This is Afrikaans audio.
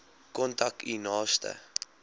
kontak u naaste